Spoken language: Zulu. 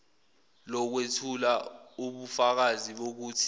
lokwethula ubufakazi bokuthi